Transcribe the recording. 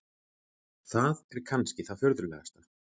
Það er kannski það furðulegasta.